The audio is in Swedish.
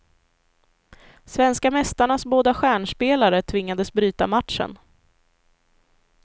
Svenska mästarnas båda stjärnspelare tvingades bryta matchen.